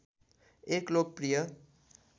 एक लोकप्रिय